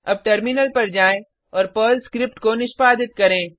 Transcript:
अब टर्मिनल पर जाएँ और पर्ल स्क्रिप्ट को निष्पादित करें